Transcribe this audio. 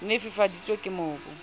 ne e fifaditswe ke mobu